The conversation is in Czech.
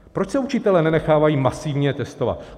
Proč se učitelé nenechávají masivně testovat?